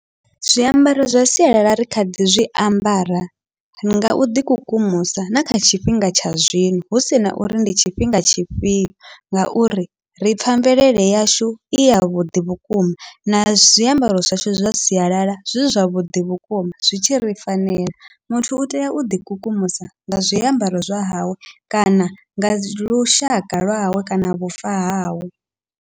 Zwiambaro zwa sialala ri kha ḓi zwiambara ri nga uḓi kukumusa na kha tshifhinga tsha zwino hu sina uri ndi tshifhinga tshifhio, ngauri ri pfha mvelele yashu i yavhuḓi vhukuma na zwiambaro zwashu zwa sialala zwi zwavhuḓi vhukuma zwi tshi ri fanela, muthu utea u ḓi kukumusa nga zwiambaro zwa hawe kana nga lushaka lwawe kana vhufa hawe.